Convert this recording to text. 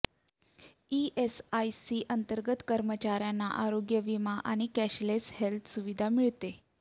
ESIC अंतर्गत कर्मचाऱयांना आरोग्य विमा आणि कॅशलेस हेल्थ सुविधा मिळते